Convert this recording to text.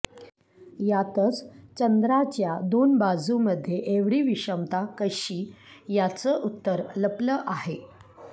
यातच चंद्राच्या दोन बाजूंमधे एवढी विषमता कशी याचं उत्तर लपलं आहे